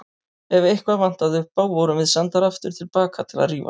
Ef eitthvað vantaði upp á vorum við sendar aftur til baka til að rífast.